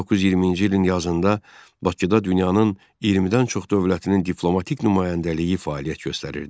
1920-ci ilin yazında Bakıda dünyanın 20-dən çox dövlətinin diplomatik nümayəndəliyi fəaliyyət göstərirdi.